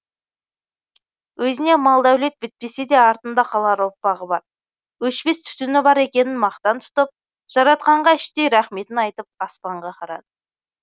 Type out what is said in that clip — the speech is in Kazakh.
өзіне мал дәулет бітпесе де артында қалар ұрпағы бар өшпес түтіні бар екенін мақтан тұтып жаратқанға іштей рахметін айтып аспанға қарады